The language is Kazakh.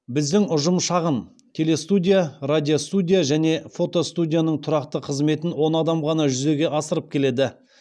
біздің ұжым шағын телестудия радиостудия және фотостудияның тұрақты қызметін он адам ғана жүзеге асырып келеді